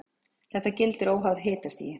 Þetta gildir óháð hitastigi.